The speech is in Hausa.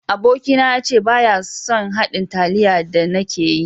Aboki na ya ce baya son haɗin taliya da ni ke yi.